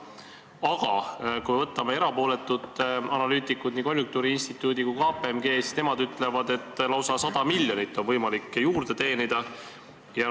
Aga kui võtame erapooletud analüütikud, nii konjunktuuriinstituudi kui ka KPMG, siis nemad ütlevad, et lausa 100 miljonit on võimalik juurde teenida.